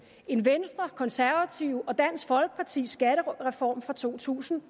end venstre konservative og dansk folkepartis skattereform fra to tusind